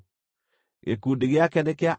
Gĩkundi gĩake nĩ kĩa andũ 40,500.